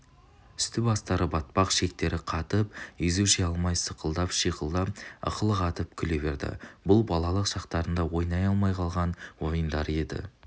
үсті-бастары батпақ шектері қатып езу жия алмай сықылықтап шиқылдап ықылық атып күле берді бұл балалық шақтарында ойналмай қалған ойындары еді